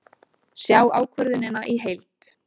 Sjá ákvörðunina í heild